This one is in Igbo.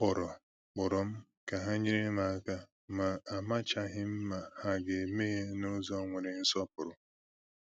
A kpọrọ kpọrọ m ka e nyere m aka, ma amachaghị m ma ha ga-eme ya n’ụzọ nwere nsọpụrụ